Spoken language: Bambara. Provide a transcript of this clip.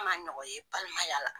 N man nɔgɔn ye balimayala.